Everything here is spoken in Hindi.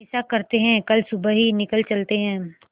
ऐसा करते है कल सुबह ही निकल चलते है